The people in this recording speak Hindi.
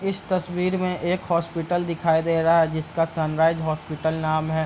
इस तस्वीर में एक हॉस्पिटल दिखाई दे रहा है जिसका सनराइज हॉस्पिटल नाम है।